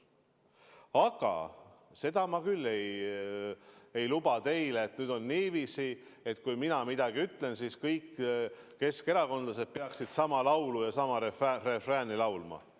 Aga seda ma küll ei luba teile, et nüüd on niiviisi, et kui mina midagi ütlen, siis kõik keskerakondlased peaksid sama laulu ja sama refrääni laulma.